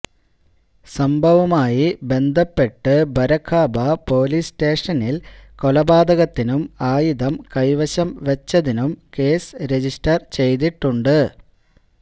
സംഭവവുമായി ബന്ധപ്പെട്ട് ബരഖാമ്പ പൊലീസ് സ്റ്റേഷനിൽ കൊലപാതകത്തിനും ആയുധം കൈവശം വെച്ചതിനും കേസ് രജിസ്റ്റർ ചെയ്തിട്ടുണ്ട്